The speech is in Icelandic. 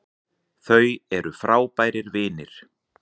Þau eru frábærir vinir